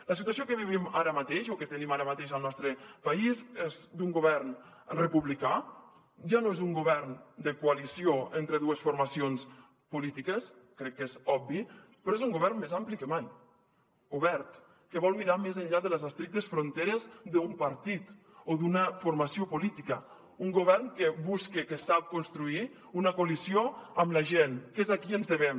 la situació que vivim ara mateix o que tenim ara mateix al nostre país és d’un govern republicà ja no és un govern de coalició entre dues formacions polítiques crec que és obvi però és un govern més ampli que mai obert que vol mirar més enllà de les estrictes fronteres d’un partit o d’una formació política un govern que busca que sap construir una coalició amb la gent que és a qui ens devem